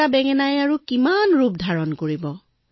এটা বেঙেনাই বেচেৰা কিমান ৰূপ ধাৰণ কৰিব